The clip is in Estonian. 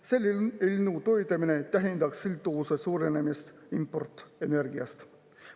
Selle eelnõu toetamine tähendaks sõltuvuse suurenemist importenergiast.